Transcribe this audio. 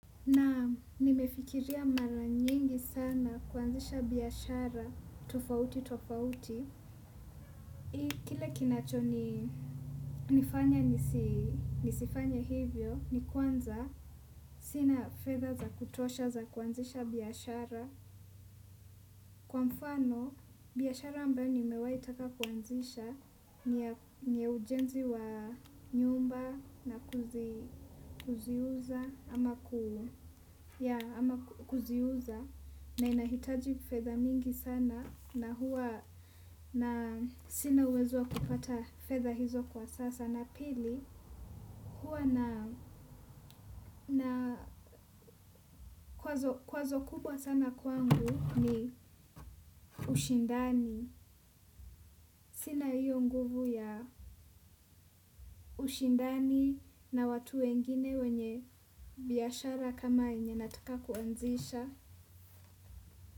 Naam nimefikiria mara nyingi sana kuanzisha biashara, tofauti, tofauti. Hii kile kinacho nifanya nisifanye hivyo, ni kwanza. Sina fedha za kutosha za kuanzisha biashara. Kwa mfano, biashara ambayo nimewahi taka kuanzisha ni ya ujenzi wa nyumba na kuziuza ama kuziuza. Na inahitaji fedha mingi sana na huwa na sina uwezo wa kupata fedha hizo kwa sasa na pili. Huwa na kwazo kubwa sana kwangu ni ushindani. Sina hiyo nguvu ya ushindani na watu wengine wenye biashara kama yenye nataka kuanzisha.